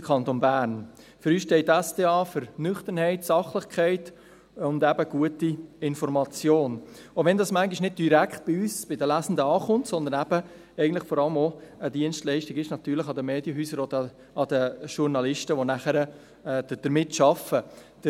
Für uns steht die SDA für Nüchternheit, Sachlichkeit und eben gute Information, auch wenn diese manchmal nicht bei uns, den Lesenden, ankommt, sondern eben vor allem eine Dienstleistung für die Medienhäuser und Journalisten ist, die damit arbeiten.